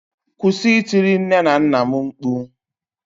kwụsị itiri nne na nna'm mkpu